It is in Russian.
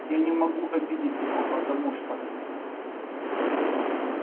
я не могу обидеть его потому что